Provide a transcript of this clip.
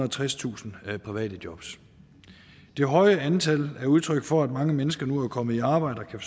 og tredstusind private jobs det høje antal er udtryk for at mange mennesker nu er kommet i arbejde og kan